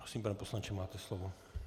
Prosím, pane poslanče, máte slovo.